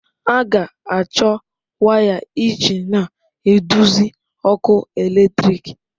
A ga-achọ waya iji na-eduzi ọkụ eletrik.